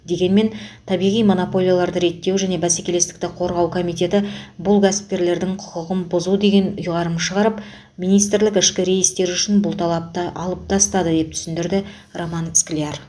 дегенмен табиғи монополияларды реттеу және бәсекелестікті қорғау комитеті бұл кәсіпкерлердің құқығын бұзу деген ұйғарым шығарып министрлік ішкі рейстер үшін бұл талапты алып тастады деп түсіндірді роман скляр